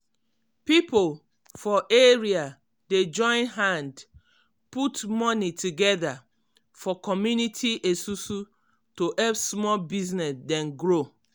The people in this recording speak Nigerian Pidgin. pipo for area dey join hand put money together for community esusu to help small business dem grow.